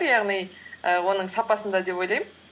яғни і оның сапасында деп ойлаймын